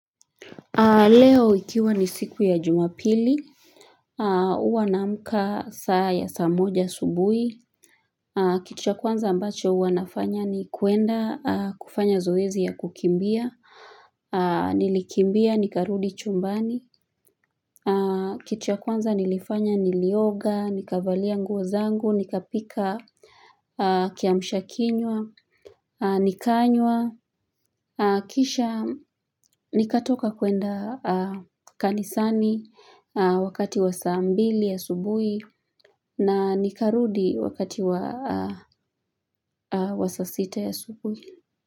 Leo ikiwa ni siku ya jumapili Uwa naamka saa ya saa moja asubuhi Kitu kwanza ambacho uwa nafanya ni kuenda kufanya zoezi ya kukimbia Nilikimbia, nikarudi chumbani Kitua kwanza nilifanya nilioga, nikavalia nguo zangu, nikapika Kiamshakinwa, nikanywa Kisha nikatoka kuenda kanisani wakati wasa ambili asubuhi na nikarudi wakati wa saa sita asubuhi.